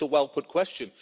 it's a well put question.